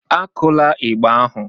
Akula ịgbà ahụ!